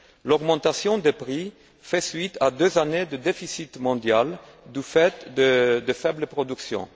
L'augmentation des prix fait suite à deux années de déficit mondial du fait de faibles productions.